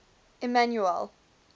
emmanuele